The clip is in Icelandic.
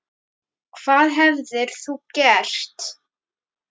Hvað hefðir þú gert?